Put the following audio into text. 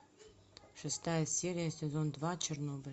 шестая серия сезон два чернобыль